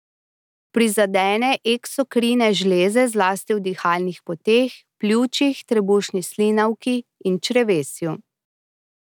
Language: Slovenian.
Prizadene eksokrine žleze zlasti v dihalnih poteh, pljučih, trebušni slinavki in črevesju.